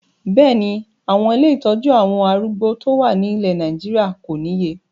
Bẹ́ẹ̀ni, àwọn ilé ìtọ́jú àwọn arúgbó tó wà ní ilẹ̀ Nàìjíríà kò níye